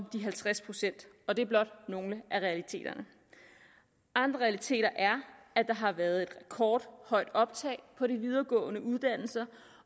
de halvtreds procent og det er blot nogle af realiteterne andre realiteter er at der har været et rekordhøjt optag på de videregående uddannelser